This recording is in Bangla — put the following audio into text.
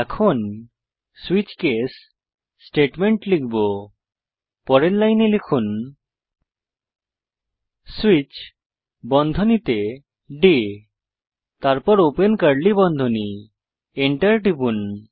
এখন সুইচ কেস স্টেটমেন্ট লিখব পরের লাইনে লিখুন সুইচ বন্ধনীতে ডে তারপর ওপেন কার্লী বন্ধনী Enter টিপুন